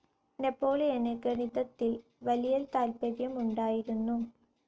നെപ്പോളിയന് ഗണിതത്തിൽ വലിയ താത്പര്യമുണ്ടായിരുന്നു.